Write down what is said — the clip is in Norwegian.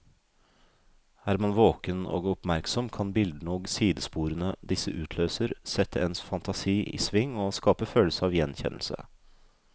Er man våken og oppmerksom, kan bildene og sidesporene disse utløser, sette ens fantasi i sving og skape følelse av gjenkjennelse.